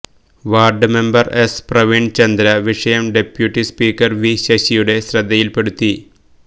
ward member S Praveenchandra വിഷയം deputy speaker V ശശിയുടെ ശ്രദ്ധയിൽപ്പെടുത്തി